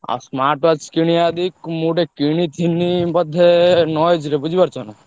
ଆଉ smart watch କିଣିବା ଯଦି ମୁଁ ଗୋଟେ କିଣିଥିଲି ବୋଧେ ର ବୁଝିପାରୁଛ ନା।